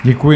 Děkuji.